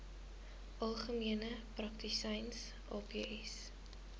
algemene praktisyns aps